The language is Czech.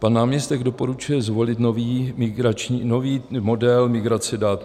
Pan náměstek doporučil zvolit nový model migrace dat.